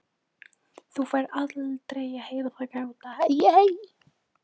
Þú færð aldrei að heyra það gráta.